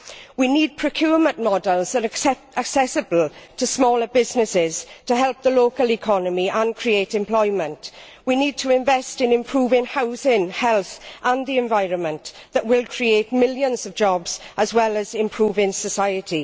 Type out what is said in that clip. We need procurement models that are accessible to smaller businesses to help the local economy and create employment. We need to invest in improving housing, health and the environment this will create millions of jobs and improve society.